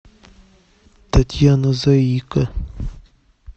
татьяна заика